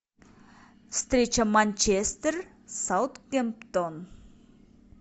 встреча манчестер саутгемптон